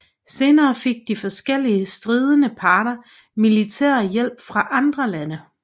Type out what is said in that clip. Senere fik de forskellige stridende parter militær hjælp fra andre lande